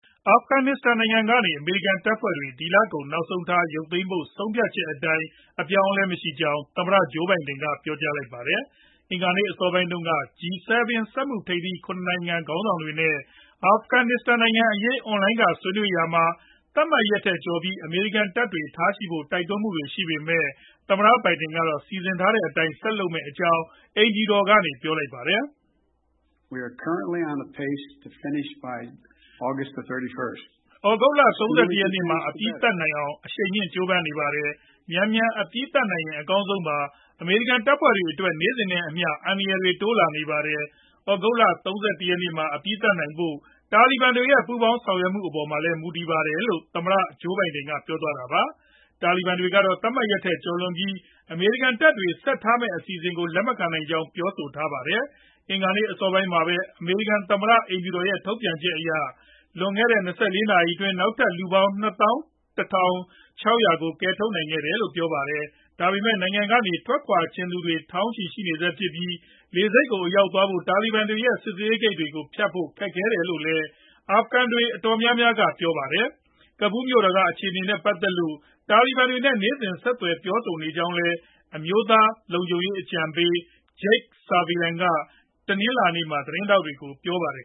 အာဖဂနစ္စတန်နိုင်ငံကနေ အမေရိကန် တပ်ဖွဲ့တွေ ဒီလကုန် နောက်ဆုံးထား ရုပ်သိမ်းဖို့ ဆုံးဖြတ်ချက်အတိုင်း အပြောင်းအလဲ မရှိကြောင်း သမ္မတ Joe Biden ကပြောကြားလိုက်ပါတယ်။ အင်္ဂါနေ့ အစောပိုင်းတုန်းက G7 စက်မှုထိပ်သီး ၇ နိုင်ငံ ခေါင်းဆောင်တွေနဲ့ အာဖဂနစ္စတန်နိုင်ငံအရေး အွန်လိုင်းက ဆွေးနွေးရာမှာ သတ်မှတ်ရက်ထက် ကျော်ပြီး အမေရိကန်တပ်တွေ ထားရှိဖို့ တိုက်တွန်းမှုတွေ ရှိပေမဲ့ သမ္မတဘိုင်ဒင်ကတော့ စီစဉ်ထားတဲ့အတိုင်း ဆက်လုပ်မယ့်အကြောင်း အိမ်ဖြူတော်ကနေ ပြောလိုက်တာပါ။ “သြဂုတ်လ ၃၁ ရက်နေ့မှာ အပြီးသတ်နိုင်အောင် အရှိန်မြှင့် ကြိုးပမ်းနေပါတယ်။ မြန်မြန်အပြီးသတ်နိုင်ရင် အကောင်းဆုံးပါ။ အမေရိကန် တပ်ဖွဲ့တွေအတွက် နေ့စဉ်နဲ့အမျှ အန္တရာယ်တွေ တိုးလာနေပါတယ်။ သြဂုတ်လ ၃၁ ရက်နေ့မှာ အပြီးသတ်နိုင်ဖို့ တာလီဘန်တွေရဲ့ ပူးပေါင်းဆောင်ရွက်မှုအပေါ်မှာလည်း မူတည်ပါတယ်။” လို့ သမ္မတဘိုင်ဒင် ပြောသွားတာပါ။ တာလီဘန်တွေကတော့ သတ်မှတ်ထားတဲ့ရက်ထက် ကျော်လွန်ပြီး အမေရိကန်တပ်တွေ ဆက်ထားမယ့် အစီအစဉ်ကို လက်မခံနိုင်ကြောင်း ပြောဆိုထားတာပါ။ အင်္ဂါနေ့ အစောပိုင်းမှာပဲ အမေရိကန်သမ္မတ အိမ်ဖြူတော်ရဲ့ ထုတ်ပြန်ချက်အရ လွန်ခဲ့တဲ့ ၂၄ နာရီအတွင်း နောက်ထပ်လူပေါင်း ၂၁,၆၀၀ ကို ကယ်ထုတ်နိုင်ခဲ့တယ်လို့ ပြောပါတယ်။ ဒါပေမဲ့လည်း နိုင်ငံကနေ ထွက်ခွာချင်သူ ထောင်ချီရှိနေဆဲဖြစ်ပြီး၊ လေဆိပ်ကို အရောက်သွားဖို့ တာလီဘန်တွေရဲ့ စစ်ဆေးရေးဂိတ်တွေကိုဖြတ်ဖို့ ခက်ခဲတယ်လို့လည်း အာဖဂန်တွေ တော်တော်များများက ပြောပါတယ်။ ကဘူးမြို့တော်က အခြေအနေတွေနဲ့ ပတ်သက်လို့ တာလီဘန်တွေနဲ့ နေ့စဉ်ဆက်သွယ် ပြောဆိုနေကြောင်းလည်း အမျိုးသားလုံခြုံရေးအကြံပေး Jake Sullivan က တနင်္လာနေ့မှာ သတင်းထောက်တွေကို ပြောထားပါတယ်